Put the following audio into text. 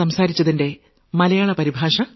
പ്രക്ഷേപണത്തിന്റെ മലയാള പരിഭാഷ